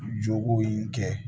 Jogow kɛ